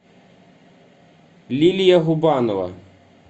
лилия губанова